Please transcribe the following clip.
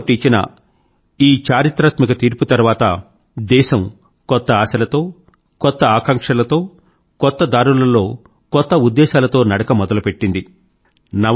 supreme court ఇచ్చిన ఈ చారిత్రాత్మక తీర్పు తర్వాత దేశం కొత్త ఆశలతో కొత్త ఆకాంక్షలతో కొత్త దారులలో కొత్త ఉద్దేశాలతో నడక మొదలుపెట్టింది